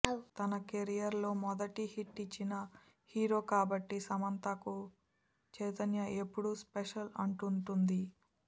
తన కెరియర్ లో మొదటి హిట్ ఇచ్చిన హీరో కాబట్టి సమంతకు చైతన్య ఎప్పుడు స్పెషల్ అంటుంటుంది